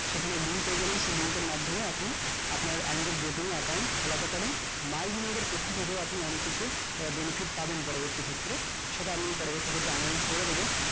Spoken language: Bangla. সেখানে link পেয়ে যাবেন link এর মাধ্যমে আপনি আপনার angel broken account খোলাতে পারবেন মাই দিনের পক্ষ থেকে আপনি অনেক কিছু benefit পাবেন পরবর্তী ক্ষেত্রে সেটা আমি announcement করে দেব